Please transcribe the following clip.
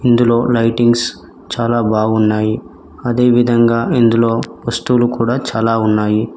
ఇందులో లైటింగ్స్ చాలా బాగున్నాయి అదేవిధంగా ఇందులో వస్తువులు కూడా చాలా ఉన్నాయి.